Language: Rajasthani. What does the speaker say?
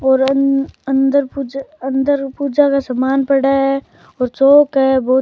और अं अंदर पूजा अंदर पूजा का सामान पड़ा है और चौक है बहोत --